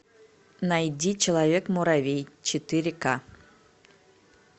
найди человек муравей четыре ка